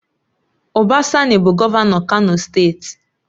Uba Sani bụ Gọvanọ Kano steeti